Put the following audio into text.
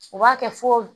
U b'a kɛ fo